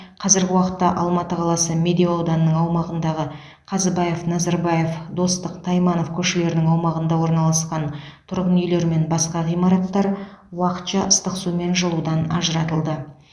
қазіргі уақытта алматы қаласы медеу ауданының аумағындағы қазыбаев назарбаев достық тайманов көшелерінің аумағында орналасқан тұрғын үйлер мен басқа ғимараттар уақытша ыстық су мен жылудан ажыратылды